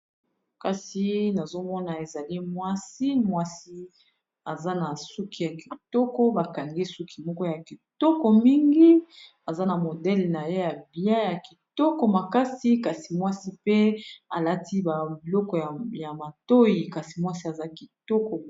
kasi nazomona ezali mwasi mwasi aza na suki ya kitoko bakangi suki moko ya kitoko mingi aza na modele na ye ya biai ya kitoko makasi kasi mwasi pe alati babiloko ya matoi kasi mwasi aza kitoko